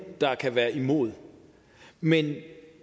der kan være imod men